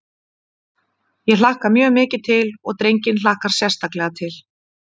Ég hlakka mjög mikið til og drenginn hlakkar sérstaklega til.